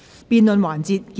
辯論環節結束。